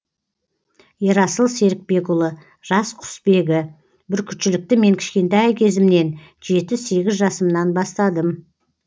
ерасыл серікбекұлы жас құсбегі бүркітшілікті мен кішкентай кезімнен жеті сегіз жасымнан бастадым